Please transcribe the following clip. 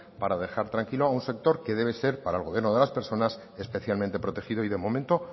para dejar tranquilo a un sector que debe ser para el gobierno de las personas especialmente protegido y de momento